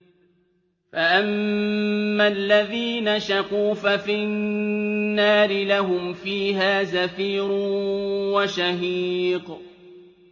فَأَمَّا الَّذِينَ شَقُوا فَفِي النَّارِ لَهُمْ فِيهَا زَفِيرٌ وَشَهِيقٌ